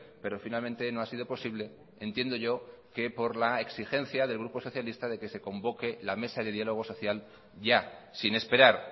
pero finalmente no ha sido posible entiendo yo que por la exigencia del grupo socialista de que se convoque la mesa de diálogo social ya sin esperar